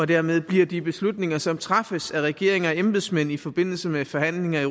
dermed bliver de beslutninger som træffes af regeringer og embedsmænd i forbindelse med forhandlinger i